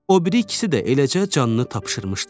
O biri ikisi də eləcə canını tapşırmışdı.